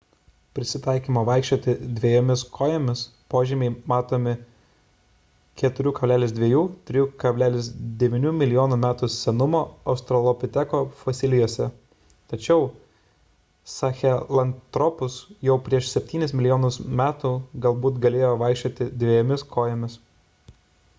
prisitaikymo vaikščioti dviejomis kojomis požymiai matomi 4,2–3,9 mln. metų senumo australopiteko fosilijose tačiau sahelanthropus jau prieš septynis milijonus metų galbūt galėjo vaikščioti dviejomis kojomis